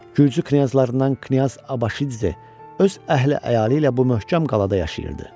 Gürcü knyazlarından Knyaz Abaşidze öz əhli-əyalı ilə bu möhkəm qalada yaşayırdı.